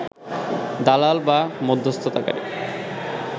দালাল বা মধ্যস্থতাকারী